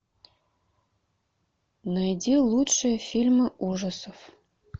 найди лучшие фильмы ужасов